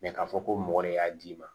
k'a fɔ ko mɔgɔ de y'a d'i ma